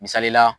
Misali la